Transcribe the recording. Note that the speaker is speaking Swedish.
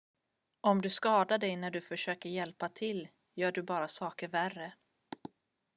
om du skadar dig när du försöker hjälpa till gör du bara saker värre